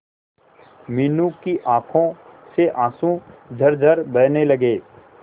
मीनू की आंखों से आंसू झरझर बहने लगे